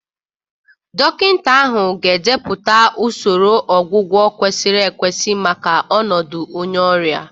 Dọkịta ahụ ga-edepụta usoro ọgwụgwọ kwesịrị ekwesị maka ọnọdụ onye ọrịa.